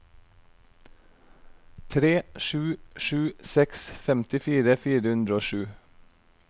tre sju sju seks femtifire fire hundre og sju